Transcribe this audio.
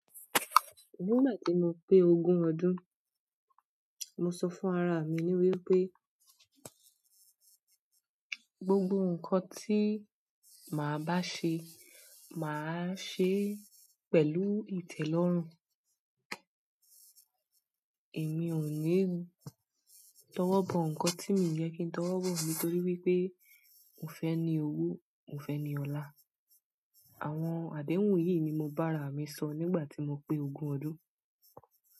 Nígbà tí mo pé ogún ọdún, mo sọ fún ara mi ní wípé gbogbo ǹkan tí màá bá ṣe, màá ṣe pẹ̀lú ìtẹ̀lọ́rùn. Èmi ò ní tọwọ́ bọ ǹkan tí mi ò yẹ kí n tọwọ́ bọ̀ nítorí wípé mo fẹ́ ní owo, mo fẹ́ ní ọlá. Àwọn àdéhùn yìí ni mo bá ara mi sọ nígbà tí mo pé ogún ọdún.